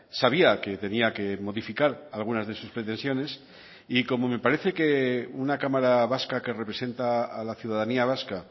sabía que tenía que modificar algunas de sus pretensiones y como me parece que una cámara vasca que representa a la ciudadanía vasca